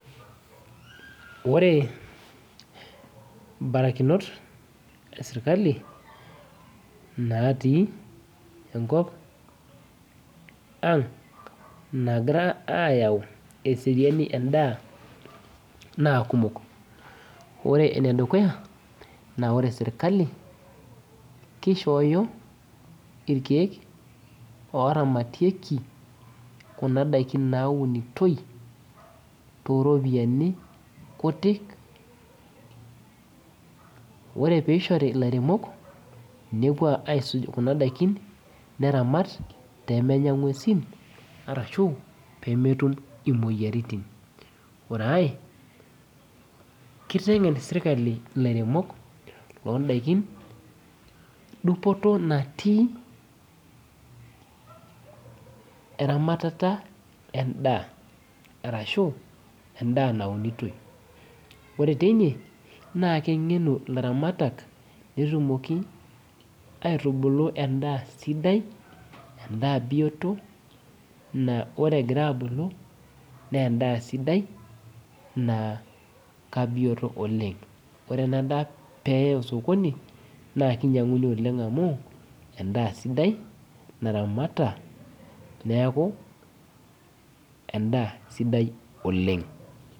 Ore imbarakinot esirkali natii enkop ang nagira ayau eseriani endaa naa kumok ore enedukuya naa wore sirkali kishooyo irkeek oramatieki kuna daikin naunitoi toropiani kutik ore peishori ilairemok nepuo aisuj kuna daikin neramat pemenya ing'uesin arashu pemetum imoyiaritin ore ae kiteng'en sirkali ilairemok londaikin dupoto natii eramatata endaa arashu endaa naunitoi ore teine naa keng'enu ilaramatak netumoki aitubulu endaa sidai endaa biyioto naa ore egira abulu naa endaa sidai naa kabiyioto oleng ore ena daa peyae osokoni naa kinyiang'uni oleng amu endaa sidai naramata neeku endaa sidai oleng.